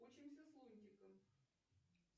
учимся с лунтиком